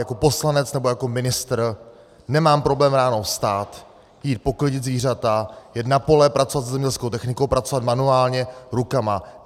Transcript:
Jako poslanec nebo jako ministr nemám problém ráno vstát, jít poklidit zvířata, jet na pole, pracovat se zemědělskou technikou, pracovat manuálně, rukama.